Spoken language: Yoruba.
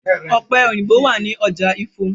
Ọ̀pẹ̀ òyìnbo wà ní ọjà Ifo.